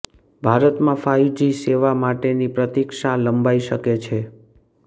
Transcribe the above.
ભારતમાં five G સેવા માટેની પ્રતીક્ષા લંબાઈ શકે છે